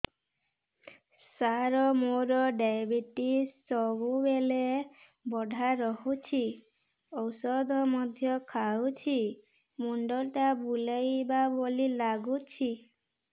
ସାର ମୋର ଡାଏବେଟିସ ସବୁବେଳ ବଢ଼ା ରହୁଛି ଔଷଧ ମଧ୍ୟ ଖାଉଛି ମୁଣ୍ଡ ଟା ବୁଲାଇବା ଭଳି ଲାଗୁଛି